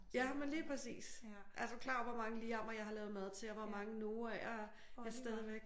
Jamen lige præcis! Er du klar over hvor mange Liam'mer jeg har lavet mad til og hvor mange Noah'er er stadigvæk